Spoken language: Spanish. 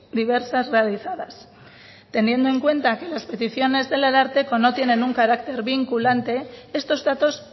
diversas realizadas teniendo en cuenta que las peticiones del ararteko no tienen un carácter vinculante estos datos